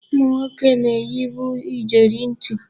Ụmụnwoke na-eyibu ijeri ntị.